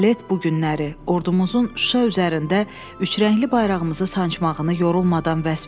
balet bu günləri ordumuzun Şuşa üzərində üçrəngli bayrağımızı sancmağını yorulmadan vəsf eləyir.